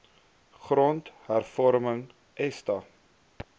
grond hervorming esta